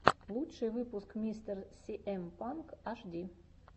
лучший выпуск мистер сиэм панк ашди